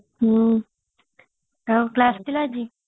ହଁ ଆଉ class ଥିଲା ଆଜି